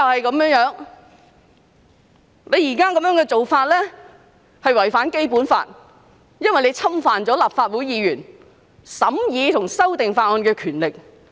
擬議安排有違《基本法》，因為侵犯了立法會議員審議和修訂法案的權力。